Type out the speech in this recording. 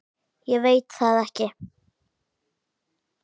Ég veit það ekki